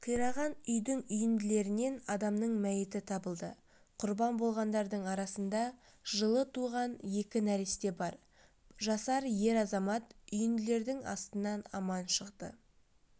қираған үйдің үйінділерінен адамның мәйіті табылды құрбан болғандардың арасында жылы туған екі нәресте бар жасар ер азамат үйінділердің астынан аман шықты